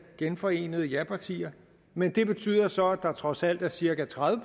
genforenede japartier men det betyder så at der trods alt er cirka tredive